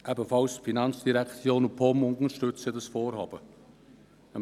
Die FIN und die POM unterstützen dieses Vorhaben ebenfalls.